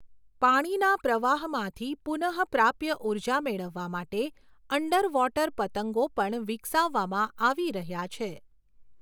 પાણીના પ્રવાહમાંથી પુનઃપ્રાપ્ય ઊર્જા મેળવવા માટે અન્ડરવૉટર પતંગો પણ વિકસાવવામાં આવી રહ્યા છે.